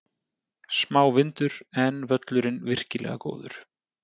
Smá vindur, en völlurinn virkilega góður.